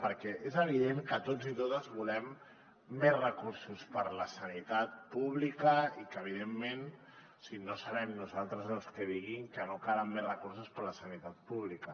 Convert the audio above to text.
perquè és evident que tots i totes volem més recursos per a la sanitat pública i que evidentment no serem nosaltres els que diguem que no calen més recursos per a la sanitat pública